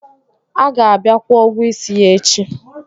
A ga-abịa kwụo ụgwọ isi ya echi